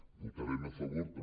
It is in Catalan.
votarem a favor també